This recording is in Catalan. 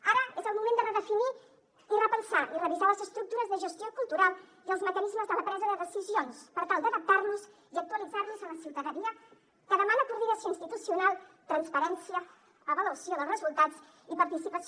ara és el moment de redefinir i repensar i revisar les estructures de gestió cultural i els mecanismes de la presa de decisions per tal d’adaptar los i actualitzar los a la ciutadania que demana coordinació institucional transparència avaluació dels resultats i participació